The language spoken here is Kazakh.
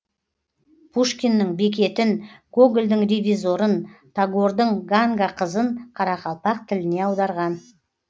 пушкиннің бекетін гогольдің ревизорын тагордың ганга қызын қарақалпақ тіліне аударған